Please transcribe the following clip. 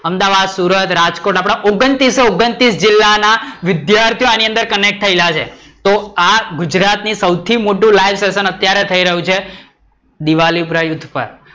અમદાવાદ, સુરત, રાજકોટ આપડા ઓગણત્રીસ - ઓગણત્રીસ જિલ્લા ના વિદ્યાર્થીઓ આની અંદર connect થયેલા છે. તો આ ગુજરાત થી સૌથી મોટું sessionlivesession અત્યારે થઈ રહીયુ છે દીવાપુરા યુથ પર